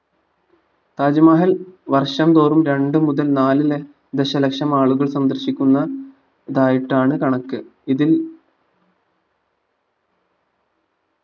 താജ്മഹൽ വർഷം തോറൂം രണ്ടു മുതൽ നാലു ലഷ ദശലക്ഷം ആളുകൾ സന്ദർശിക്കുന്ന ഇതായിട്ടാണ് കണക്ക് ഇതിൽ